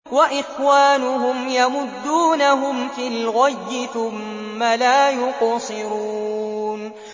وَإِخْوَانُهُمْ يَمُدُّونَهُمْ فِي الْغَيِّ ثُمَّ لَا يُقْصِرُونَ